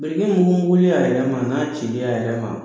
Biriki ninnu wuli a yɛrɛ ma n'a cili a yɛrɛ ma